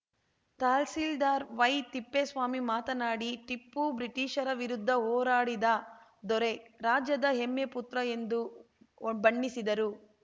tahsildar Y Thippeswamy ಮಾತನಾಡಿ ಟಿಪ್ಪು ಬ್ರಿಟೀಷರ ವಿರುದ್ಧ ಹೋರಾಡಿದ ದೊರೆ ರಾಜ್ಯದ ಹೆಮ್ಮೆ ಪುತ್ರ ಎಂದು ಬಣ್ಣಿಸಿದರು